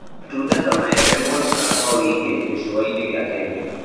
Matunda ta maembe monekaga kwa wĩingĩ gĩcũa-inĩ gĩa Kenya.